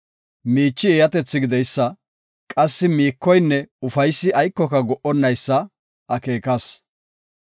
Miichi eeyatethi gideysa, qassi miikoynne ufaysi aykoka go77onnaysa akeekas.